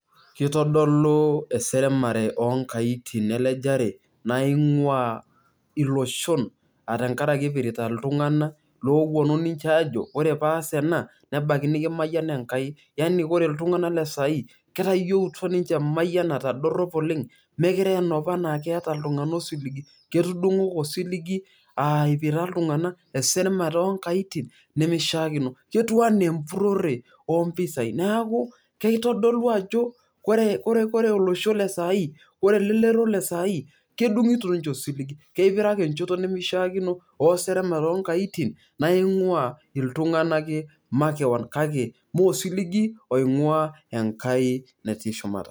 Kitodolu eseremare oonkaitin elejare naing'uaa iloshon aa tenkaraki ipirita iltung'anak ooponu aajo ore paas ena nebaiki nikimayian Enkai. Yani ore iltung'anak le saai ketayieutwa ninche emayianata dorrop oleng' , ketudung'o ake osiligi aa ipirta iltung'anak eseremare oonkaitin, ketiu enaa empurrore oompisai neeku kitodolu ajo ore olosho le saai, elelero esai kedung'ito ninche osiligi. Kipiraki encheto nimikichiakino ooseremare oonkaitin naing'uaa iltung'anak kake mee osiligi oing'uaa Enkai natii shumata.